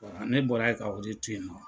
Ne bɔra yen ka o de to yen.